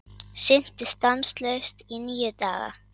Synti stanslaust í níu daga